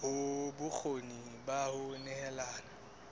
hloka bokgoni ba ho nehelana